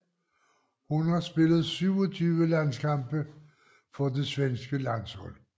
Hun har spillet 27 landskampe for det svenske landshold